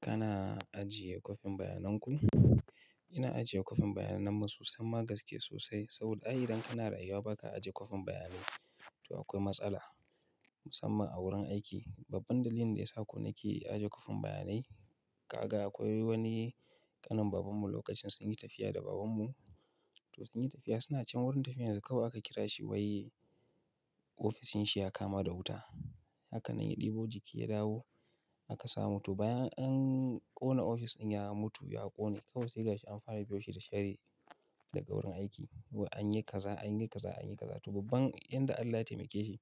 Kana ajiye kwafin bayanan ku? Ina ajiye kwafin bayanan mu sosai, gaske sosai. Saboda ai idan kana rayuwa ba ka ajiye kwafin bayanai. To akwai matsala musamman a wurin aiki. Babban dalilin da ya sa kuma na ke ajiye kwafin bayanai, ƙaga akwai wani ƙanin baban mu lokacin sun yi tafiya da baban mu. To sun yi tafiya suna can wurin tafiyar su kawai aka kira shi wai ofishin shi ya kama da wuta. Haka nan ya ɗebo jiki ya dawo aka sa mutu. Bayan an ƙona ofishin ya mutu, ya ƙone. Kawai sai ga shi an fara biyo shi da sharri daga wurin aiki. An yi kaza, an yi kaza, an yi kaza. To babban inda Allah ya taimake shi,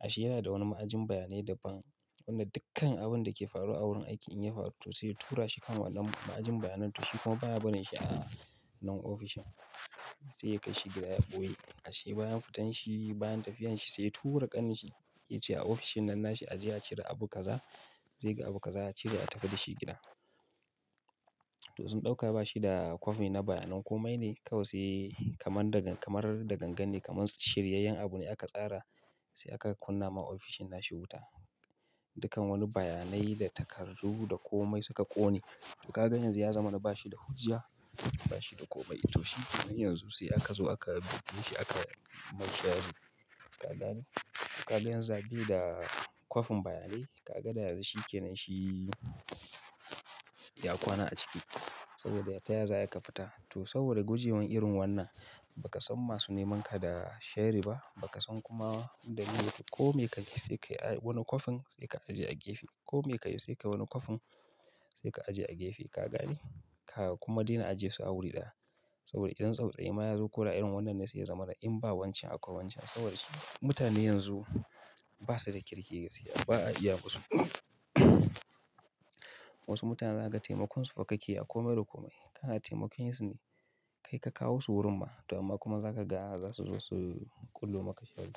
ashe yana da wani ma'ajin bayanai da ban. Wanda dukkan abun da ke faruwa a wurin aiki in ya faru to sai tura shi kan wannan ma'ajin bayanai. To shi kuma baya barin shi a nan ofishin. Sai ya kai shi gida ya ɓoye. Ashe bayan fitan shi bayan tafiyar shi sai tura ƙanin shi ya ce a ofishin nan nashi ajiye a cire abu kaza. Zai ga abu kaza a cire a tafi da shi gida. To sun ɗauka bashi da kwafi na bayanan komai ne kawai sai kamar da kamar da gangan ne kamar shiryayyen abu ne aka tsara sai aka kunna ma ofishin nashi wuta. Dukkan wani bayanai da takardu da komai suka ƙone. To ka ga yanzu ya zama na bashi da hujja, bashi da komai. To shi kenan yanzu sai aka zo aka buɗe shi aka mai shari. Ka gane? Ka ga yanzu zaɓi da kwafin bayanai ka ga da yanzu shi ke nan shi ya kwana a ciki. Saboda taya za ka fita. To saboda gujewa irin wannan, ba ka san masu neman ka da shari ba, ba ka san kuma dalilin ko me ka yi sai ka yi wani kwafin sai ka ajiye a gefe. Ko me ka yi sai ka yi wani kwafin sai ka ajiye a gefe. Ka gane? Ka kuma dena ajie su a wuri ɗaya. Saboda idan tsaftsuwai ma ya zo kula irin wannan ne sai ya zamana in ba wancan a kwancan. Sabodas mutane yanzu basa da kirki gaskiya ba a iya masu. Wasu mutane za ka taimakon su fa kake a kome da komai. Kana taimakon su kai ka kawo su wurin ma to amma kuma za ka ga za su zo su ƙulluma ka sharri.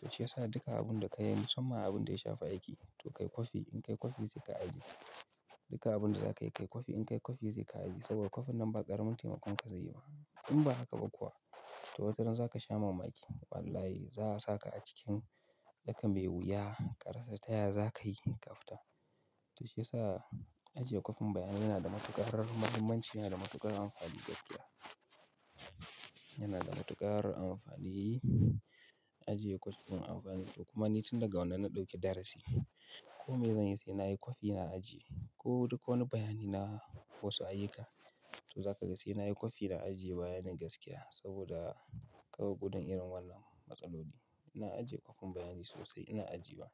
To shi ya sa duka abun da ka yi musamman abun da ya shafi aiki to kai kwafi in kai kwafi sai ka ajiye. Duka abun da za ka yi kai kwafi in kai kwafi zai ka ajiye. Saboda kwafin nan ba ƙaramin taimakon ka zai yi ba. In ba haka ba kuwa to wataran za ka sha mamaki. Wallahi za a saka a cikin tsaka mai wuya, ƙarshe taya za ka yi ka fita. To shi ya sa ajiye kwafin bayanai yana da matuƙar mahimmanci yana da matuƙar amfani gaskiya. Yana da matuƙar amfani ajiye kwafin amfani. To kuma ni tun daga wannan na ɗauke darasi. Ko me zan yi sai na yi kwafi na ajiye. Ko duka wani bayani na fo su ayyuka. To za ka ga sai na yi kwafi na ajiye bayanai gaskiya. Saboda kawai gudun irin wannan matsaloli. Ina ajiye kwafin bayanai sosai ina ajiye ma.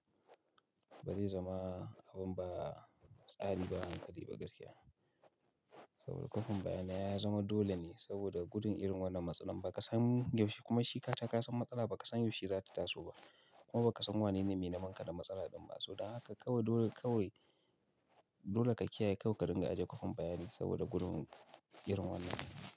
Ba zai zama abun ba tsari ba hankali ba gaskiya. Saboda kwafin bayanai ya zama dole ne saboda gudun irin wannan matsala ba ka san yaushe kuma shi ka taka san matsala ba ka san yaushe za ta taso ba. Kuma ba ka san wanene mai neman ka da matsala ɗin ba. So don haka kawai dole kawai dole ka kiyaye kawai ka dinga ajiye kwafin bayanai saboda gudun irin wannan.